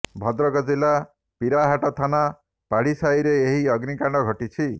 ଭଦ୍ରକ ଜିଲ୍ଲା ପିରାହାଟ ଥାନା ପାଢ଼ୀ ସାହିରେ ଏହି ଅଗ୍ନିକାଣ୍ଡ ଘଟିଛି